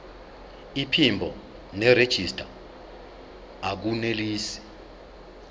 iphimbo nerejista akunelisi